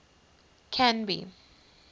canby